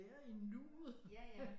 Være i nuet